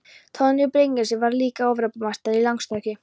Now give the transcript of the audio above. Torfi Bryngeirsson varð líka Evrópumeistari, í langstökki.